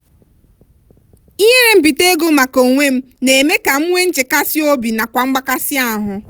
ihere mbite ego maka onwem na eme ka m nwe nchekasi obi nakwa mgbakasị ahụ.